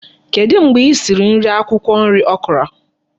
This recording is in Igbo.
Kedu mgbe isiri nri akwukwo nri Okra?